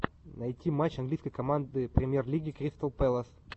найти матч английской команды премьер лиги кристал пэлас